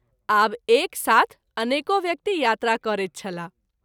आब एक साथ अनेको व्यक्ति यात्रा करैत छलाह।